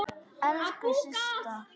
Elsku Systa!